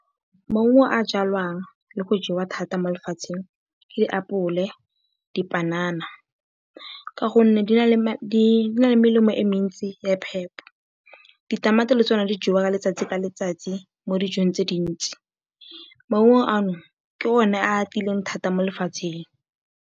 Maungo a a jwalwang le go jewa thata mo lefatsheng ke apole, dipanana ka gonne di na le melemo e mentsi ya phepo. Ditamati le tsona di jewa ka letsatsi ka letsatsi mo dijong tse dintsi. Maungo ano ke one a a atileng thata mo lefatsheng.